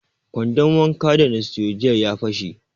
Kwandon wankan da na siyo jiya ya fashe